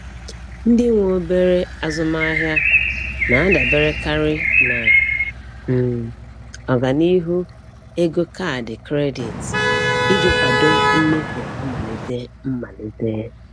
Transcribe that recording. Ndị nwe obere azụmaahịa na-adaberekarị na um ọganihu ego kaadị kredit iji kwado mmefu mmalite mmalite.